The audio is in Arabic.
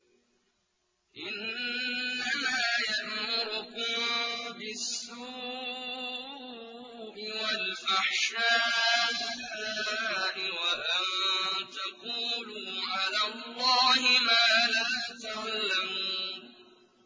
إِنَّمَا يَأْمُرُكُم بِالسُّوءِ وَالْفَحْشَاءِ وَأَن تَقُولُوا عَلَى اللَّهِ مَا لَا تَعْلَمُونَ